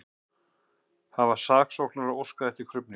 Hafa saksóknarar óskað eftir krufningu